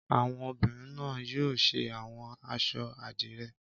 Àwọn obìnrin náà yóò ṣe àwọn aṣọ àdìrẹ́.